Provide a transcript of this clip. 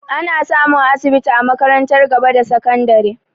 Ana samun asibiti a makarantar gaba da sakandare